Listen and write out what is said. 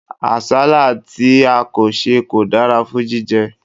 Àsálà tí a kò sè kò dára fún jíjẹ.